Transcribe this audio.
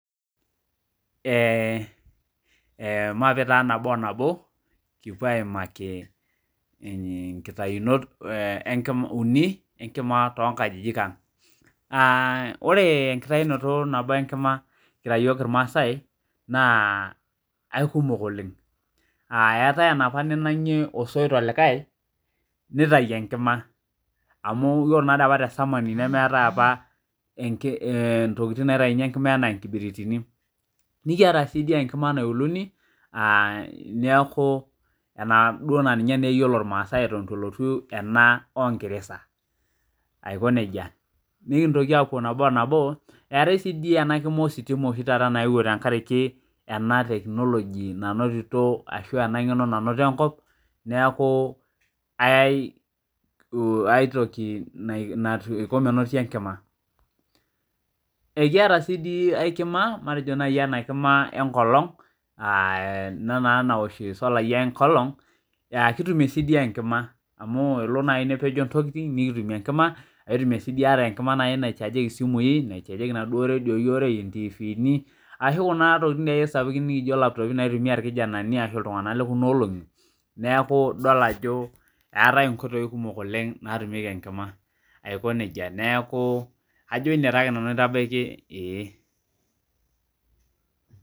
Maape taa nabo o nabo, kipuo aimaki nkitayunot uni enkima tonkajijik ang. Ah ore enkitayunoto nabo enkima kira yiok irmaasai, naa aikumok oleng. Eetae enapa ninang'ie osoit olikae, nitayu enkima. Amu ore nataapa tesamani nemeetae apa intokiting naitayuni enkima enaa nkibiritini. Nikiata sidi enkima nauluni, ah neeku enaduo naa ninye neyiolo irmaasai eton itu elotu ena onkiresa, aiko nejia. Nikintoki apuo nabo o nabo eetae si di enakima ositima naewuo tenkariki ena technology nanotito ashu ena ng'eno nanotito enkop, neeku aitoki naiko menoti enkima. Ekiata si di ai kima, matejo nai enakima enkolong, ah ena naa nawosh isolai enkolong, kitumie si di enkima. Amu elo nai nepejo ntokiting nikitumie enkima, kitumie si di ata enkima nai naichaajieki simui, naichaajieki naduo redioi ontiifini, ashu kuna tokiting ake sapukin nijo laptopi naitumia irkijanani ashu iltung'anak lekunolong'i, neeku idol ajo eetae inkoitoii kumok oleng natumieki enkima. Aiko nejia. Neeku kajo ine taake nanu aitabaki, ee.